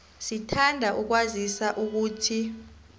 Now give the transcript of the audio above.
sithanda ukukwazisa ukuthi